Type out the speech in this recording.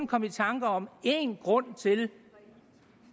komme i tanker om én grund til